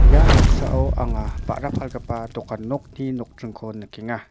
ia noksao anga ba·ra palgipa dokan nokni nokdringko nikenga.